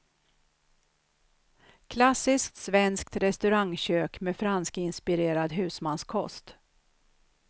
Klassiskt svenskt restaurangkök med franskinspirerad husmanskost.